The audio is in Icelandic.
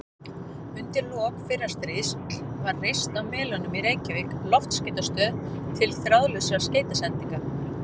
Undir lok fyrra stríðs var reist á Melunum í Reykjavík loftskeytastöð til þráðlausra skeytasendinga.